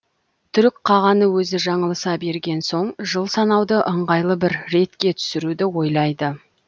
түрік қағаны өзі жаңылыса берген соң жыл санауды ыңғайлы бір ретке түсіруді ойлайды